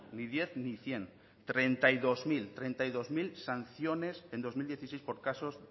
ni diez ni ehun treinta y dos mil sanciones en dos mil dieciséis por casos